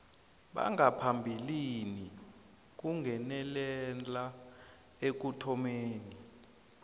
bangaphambilini kungenelela ekuthomeni